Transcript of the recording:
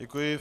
Děkuji.